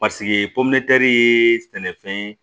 Paseke ye sɛnɛfɛn ye